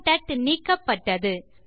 contact நீக்கப்பட்டது